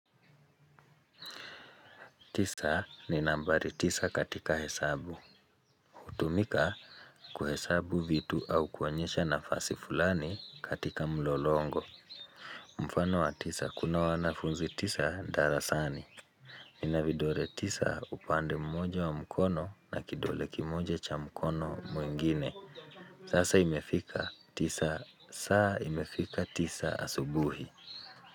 Tisa ni nambari tisa katika hesabu. Hutumika kuhesabu vitu au kuonyesha na fasi fulani katika mlolongo. Mfano wa tisa kuna wanafunzi tisa darasani. Nina vidole tisa upande mmoja wa mkono na kidole kimoja cha mkono mwengine. Sasa imefika tisa saa imefika tisa asubuhi.